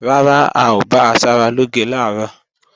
Rárá, a ò bá asaralóge làárọ̀